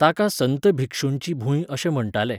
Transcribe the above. ताका संत भिक्षूंची भूंय अशें म्हण्टाले.